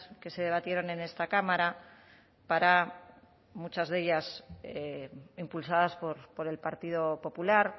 que se debatieron en esta cámara para muchas de ellas impulsadas por el partido popular